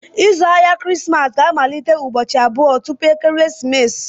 Ịzụ ahịa Krismas ga-amalite ụbọchị abụọ tupu ekeresimesi.